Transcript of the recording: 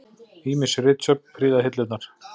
Ýmis ritsöfn prýða hillurnar.